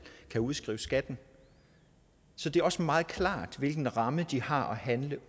kan udskrive skat så det er også meget klart hvilken ramme de har at handle